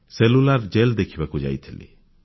cellular jail ଦେଖିବାକୁ ଯାଇଥିଲି